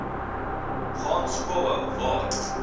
gaan skoolhou waar